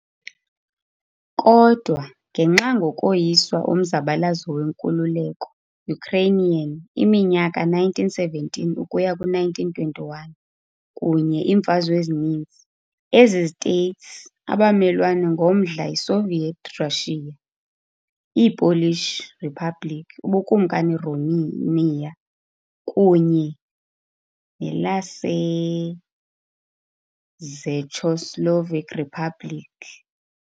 Kodwa ngenxa ngokoyiswa omzabalazo wenkululeko Ukrainian iminyaka 1917ukuya ku-1921 kunye iimfazwe ezininzi, ezi States abamelwane ngomdla yiSoviet Russia, iiPolish Republic, ubukumkani Romania kunye nelaseCzechoslovak Republic.